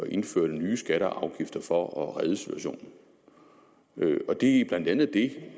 indførte nye skatter og afgifter for at redde situationen det er blandt andet det